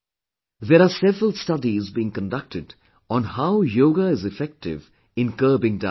There are several studies being conducted on how Yoga is effective in curbing diabetes